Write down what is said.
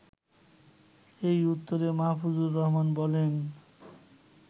এর উত্তরে মাহফুজুর রহমান বলেন